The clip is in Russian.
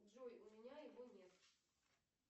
джой у меня его нет